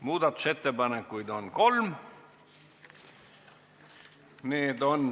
Muudatusettepanekuid on kolm.